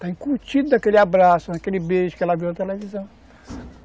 Está encurtido daquele abraço, daquele beijo que ela viu na televisão.